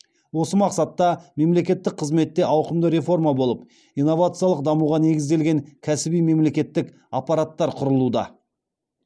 осы мақсатта мемлекеттік қызметте ауқымды реформа болып инновациялық дамуға негізделген кәсіби мемлекеттік аппараттар құрылуда